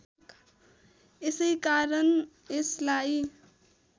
यसैकारण यसलाई